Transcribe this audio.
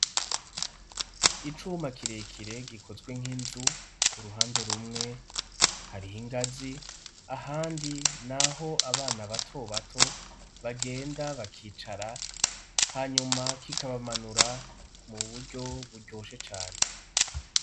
Icuma kirekire gikozwe nk'inzu, ku ruhande rumwe hariho ingazi ahandi naho abana bato bato bagenda bakicara hanyuma kikabamanura mu buryo buryoshe cane.